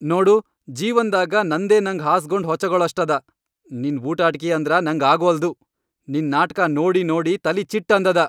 ನೋಡು ಜೀವನ್ದಾಗ ನಂದೇ ನಂಗ್ ಹಾಸ್ಗೊಂಡ್ ಹೊಚಗೊಳಷ್ಟದ.. ನಿನ್ ಬೂಟಾಟ್ಕಿ ಅಂದ್ರ ನಂಗ್ ಆಗ್ವಲ್ದು. ನಿನ್ ನಾಟ್ಕಾ ನೋಡಿ ನೋಡಿ ತಲಿ ಚಿಟ್ ಅಂದದ.